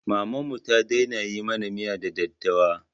Mamanmu ta daina yi mana miya da daddawa